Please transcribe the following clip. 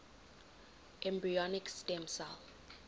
embryonic stem cell